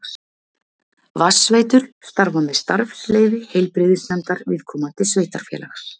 Vatnsveitur starfa með starfsleyfi heilbrigðisnefndar viðkomandi sveitarfélags.